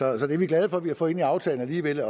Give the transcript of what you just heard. er vi glade for at vi har fået ind i aftalen alligevel